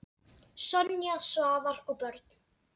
Sonja, Svavar og börn.